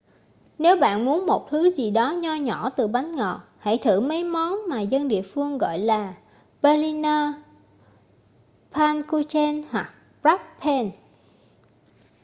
nếu bạn muốn một thứ gì đó nho nhỏ từ bánh ngọt hãy thử mấy món mà dân địa phương gọi là berliner pfannkuchen hoặc krapfen